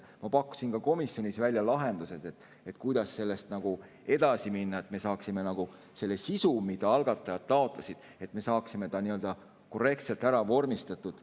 Ma pakkusin komisjonis välja lahendused, kuidas sellega edasi minna, et me saaksime selle sisu, mida algatajad taotlesid, nii-öelda korrektselt ära vormistatud.